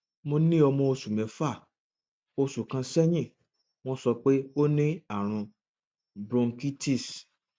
mo ní ọmọ oṣù mẹfà oṣù kan sẹyìn wọn sọ pé ó ní àrùn bronchitis